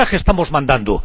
mensaje estamos mandando!?